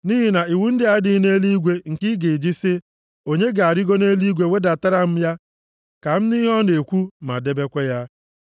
Nʼihi na iwu ndị a adịghị nʼeluigwe nke ị ga-eji sị, “Onye ga-arịgo nʼeluigwe wedatara m ya ka m nụ ihe ọ na-ekwu, ma debekwa ya.”